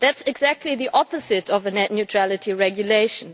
That is exactly the opposite of a net neutrality regulation.